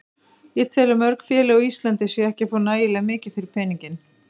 Ég tel að mörg félög á Íslandi séu ekki að fá nægilega mikið fyrir peninginn.